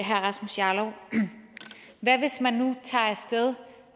herre rasmus jarlov hvad hvis man nu tager af sted